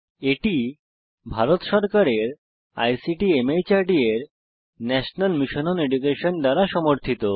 এটি ভারত সরকারের আইসিটি মাহর্দ এর ন্যাশনাল মিশন ওন এডুকেশন দ্বারা সমর্থিত